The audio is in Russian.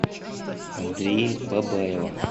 андрея бабаева